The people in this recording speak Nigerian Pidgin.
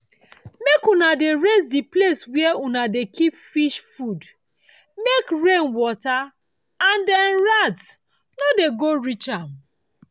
make una dey raise the place where una dey keep fish food make rain water and dem rats no go dey reach am.